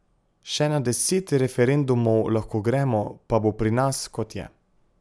Še na deset referendumov lahko gremo, pa bo pri nas, kot je.